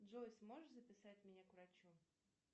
джой сможешь записать меня к врачу